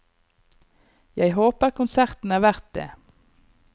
Jeg håper konserten er verdt det.